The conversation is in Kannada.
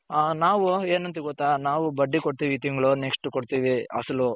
ನಾವು ಏನ ಅಂತಿವಿ ಗೊತ್ತ ನಾವು ಬಡ್ಡಿ ಕೊಡ್ತೀವಿ ಈ ತಿಂಗಳು next ಕೊಡ್ತೀವಿ ಅಸಲು.